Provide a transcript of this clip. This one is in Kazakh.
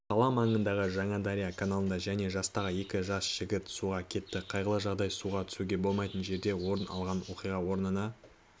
қала маңындағы жаңадария каналында және жастағы екі жас жігіт суға кетті қайғылы жағдай суға түсуге болмайтын жерде орын алған оқиға орнына